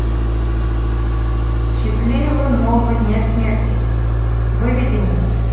счастливого нового дня смерти выведи мне